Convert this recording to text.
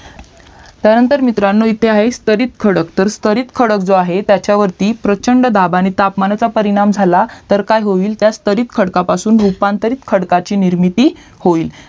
त्यानंतर मित्रांनो इथे आहे स्थरीत खडक तर स्थरीत खडक जो आहे त्याच्यावरती प्रचंड दाब आणि तापमानाचा परिणाम झाला तर काय होईल तर स्तरीत खडकपासून रूपांतरित खडकाची निर्मिती होईल